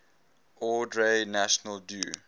ordre national du